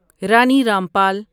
Rani Rampal